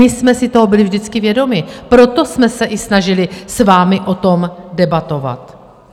My jsme si toho byli vždycky vědomi, proto jsme se i snažili s vámi o tom debatovat.